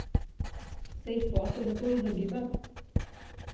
Se jih posel zato izogiba?